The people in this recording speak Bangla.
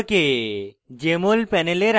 jmol panel আকার বদলানো